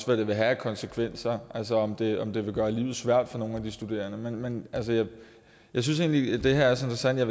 hvad det vil have af konsekvenser altså om det om det vil gøre livet svært for nogle af de studerende men jeg synes egentlig at det her er så interessant at